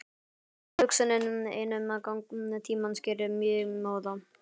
Tilhugsunin ein um gang tímans gerir mig móða.